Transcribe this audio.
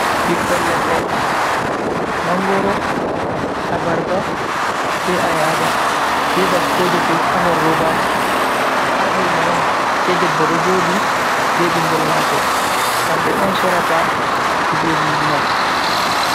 Ɓiikkon leɗɗe, mangoro, a barba, be ayaba, be baskoje fu ha nder robaji ha luma on, sei debbo ɗo joɗi be ɓingel mako kamɓe on sorata kujejji man.